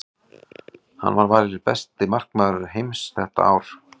Hann var valinn besti markvörður heims það árið.